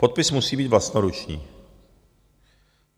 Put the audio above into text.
Podpis musí být vlastnoruční.